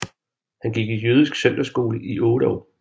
Han gik i jødisk søndagsskole i 8 år